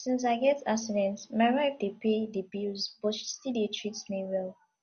since i get accident my wife dey pay the bills but she still dey treat me well